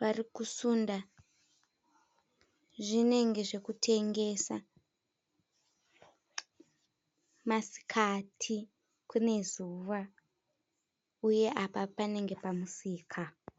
varikusunda zvinenge zvekutengesa. Masikati, kune zvuva, uye apa panenge pamusika.